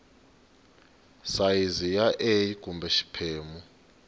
sayizi ya a kumbe xiphemu